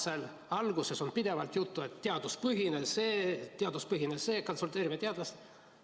Samas alguses on pidevalt juttu teaduspõhisusest, et konsulteerime teadlastega.